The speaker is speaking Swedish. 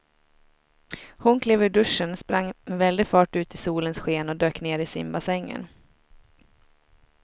Hon klev ur duschen, sprang med väldig fart ut i solens sken och dök ner i simbassängen.